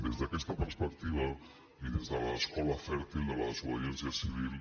des d’aquesta perspectiva i des de l’escola fèrtil de la desobediència civil